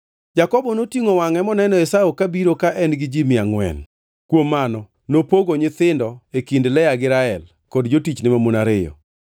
Jakobo notingʼo wangʼe moneno Esau kabiro ka en gi ji mia angʼwen. Kuom mano nopogo nyithindo e kind Lea gi Rael kod jotichne mamon ariyo.